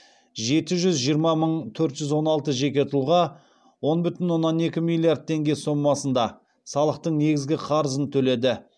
жеті жүз жиырма мың төрт жүз он алты жеке тұлға он бүтін оннан екі миллиард теңге сомасында салықтың негізгі қарызын төледі